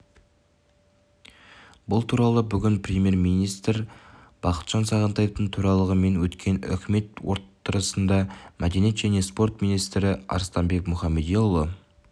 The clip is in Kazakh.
бұл туралы бүгін премьер-министрі бақытжан сағынтаевтың төрағалығымен өткен үкімет отырысындамәдениет және спорт министрі арыстанбек мұхамедиұлы